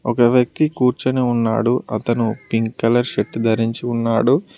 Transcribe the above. ఒక వ్యక్తి కూర్చొని ఉన్నాడు అతను పింక్ కలర్ షర్ట్ ధరించి ఉన్నాడు.